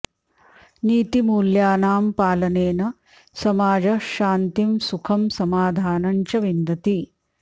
नीतिमूल्यानां पालनेन समाजः शान्तिं सुखं समाधानं च विन्दति